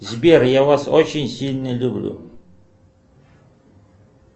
сбер я вас очень сильно люблю